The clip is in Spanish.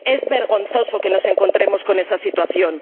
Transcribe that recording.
¡Es vergonzoso que nos encontremos con esa situación!